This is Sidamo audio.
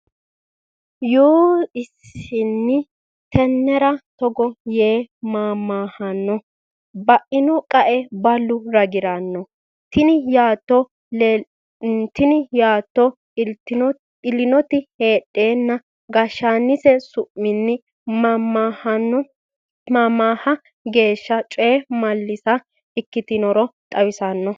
u isinni tennera togo yee maammaahanno Ba ino qae ballu ragi ranno Tini yaattono illoonniti heedheenna gashshaannise su minni maammaaha geeshsha coye maaeelsa ikkitinoro xawissanno.